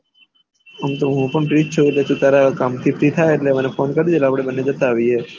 આમતો હું પણ ફ્રી છું એટલે તુંતારા કામ થી ફ્રી થાય એટલે મને ફોન કરજે એટલે આપળે બન્ને જતા રહ્યે